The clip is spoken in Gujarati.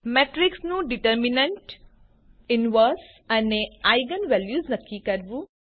મેટ્રીક્સનું ડીટરમીનન્ટ ઇન્વર્સ અને આઇજેન વેલ્યુઝ નક્કી કરવું